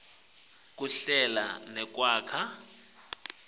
kuhlela nekwakha